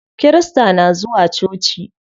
Kirista na zuwa coci.